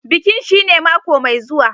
Bikin shine mako mai zuwa.